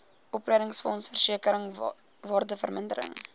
opleidingsfonds versekering waardevermindering